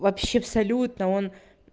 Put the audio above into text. вообще абсолютно он